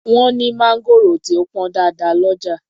Wọ́n ní mangoro tí ó pọn dáadáa ọlọ́jà.